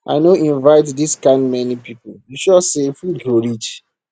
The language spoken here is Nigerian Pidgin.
i no invite dis kind many people you sure say food go reach